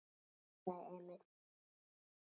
hugsaði Emil.